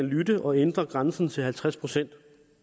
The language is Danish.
lytte og ændre grænsen til halvtreds procent